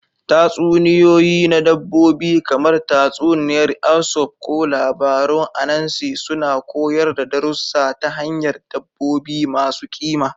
Tatsuniyoyi na dabbobi, kamar tatsuniyar Aesop ko labarun Anansi, suna koyar da darussa ta hanyar dabbobi masu ƙima.